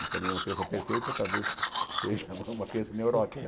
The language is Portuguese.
E também uma criança perfeita talvez seja uma criança neurótica.